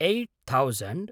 eight thousand